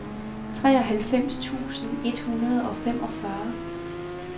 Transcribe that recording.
treoghalvfems tusind et hundrede og femogfyrre